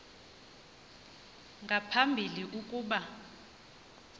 nga phambili ukuba